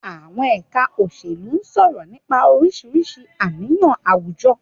Àwọn ẹ̀ka òṣèlú sọ̀rọ̀ nípa oríṣiríṣi àníyàn àwùjọ.